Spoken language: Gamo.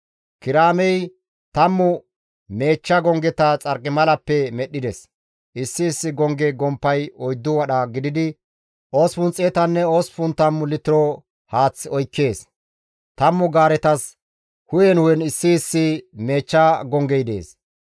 Kiraamey tammu meechcha gonggeta xarqimalappe medhdhides; issi issi gongge gomppay 4 wadha gididi, 880 litiro haath oykkees; 10 gaaretas hu7en hu7en issi issi meechcha gonggey dees.